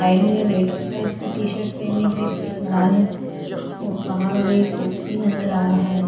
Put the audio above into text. Side में red colour की T shirt पहने एक व्यक्ती खड़ा है और बाहर भी एक व्यक्ती नजर आ रहा है।